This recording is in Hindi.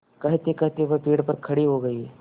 कहतेकहते वह पेड़ पर खड़े हो गए